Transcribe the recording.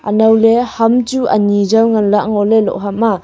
anow ley ham chu ani jaw ngan lah ley ngo ley loh ham a.